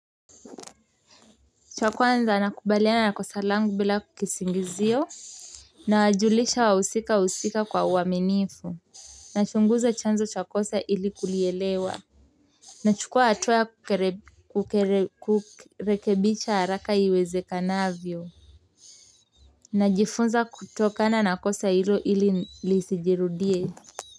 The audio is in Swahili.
Cha kwanza nakubaliana na kosa langu bila kisingizio. Nawajulisha wahusika husika kwa uaminifu nachunguza chanzo cha kosa ili kulielewa nachukua hatua kukere kukere kurekebicha haraka iwezekanavyo najifunza kutokana na kosa hilo ili lisijirudie.